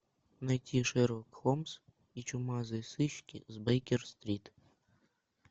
найти шерлок холмс и чумазые сыщики с бейкер стрит